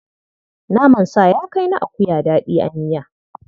Naman sa ya kai na akuya daɗi a miya.